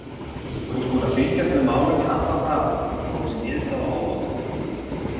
Þú ert búinn að fylgjast með málinu í allan dag, kom þessi niðurstaða á óvart?